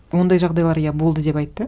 ондай жағдайлар иә болды деп айтты